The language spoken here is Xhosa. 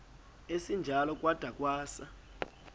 esinjalo kwada kwasa